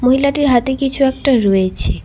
মহিলাটির হাতে কিছু একটা রয়েছে।